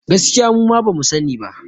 Gaskiya muma bamu sa ni ba